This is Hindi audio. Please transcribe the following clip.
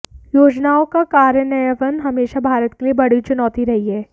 योजनाओं का कार्यान्वयन हमेशा भारत के लिए बड़ी चुनौती रही है